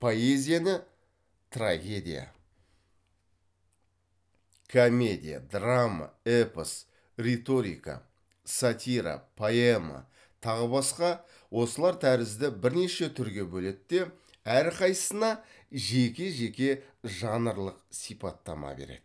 поэзияны трагедия комедия драма эпос риторика сатира поэма тағы басқа осылар тәрізді бірнеше түрге бөледі де әрқайсысына жеке жеке жанрлық сипаттама береді